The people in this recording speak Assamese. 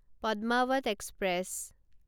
পদ্মাৱত এক্সপ্ৰেছ